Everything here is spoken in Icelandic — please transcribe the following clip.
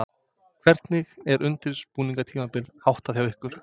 Hvernig er undirbúningstímabilinu háttað hjá ykkur?